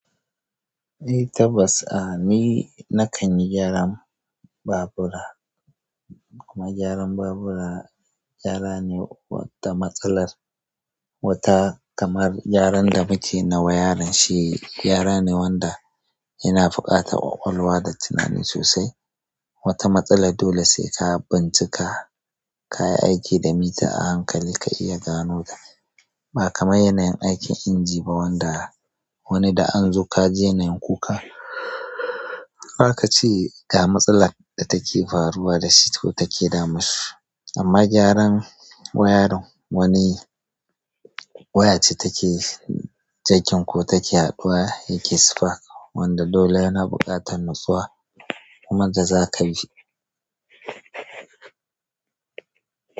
Eh tabbas a ni nakan yi gyaran babura, kuma gyaran babura gyara ne wanda matsalar wata kamar gyaran da muke na wayarin shi gayara ne wanda yana buƙatar ƙwaƙwalwa da tunani sosai. Wata matsalar dole sai ka bincika, ka yi aiki da mita a hankali ka iya gano ta. Ba kamar yanayin aikin inji ba wanda wani da an zo ka ji na yin kukan, ba ka ce ga matsalar da take faruwa da shi ko take damun shi. Amma gyaran wayarin, wani waya ce take jakin ko take haɗuwa yake spark, wanda dole yana buƙatar nutsuwa kuma da za ka bi.